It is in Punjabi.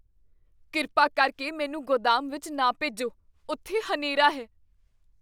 ਕਿਰਪਾ ਕਰਕੇ ਮੈਨੂੰ ਗੋਦਾਮ ਵਿੱਚ ਨਾ ਭੇਜੋ। ਉਥੇ ਹਨੇਰਾ ਹੈ।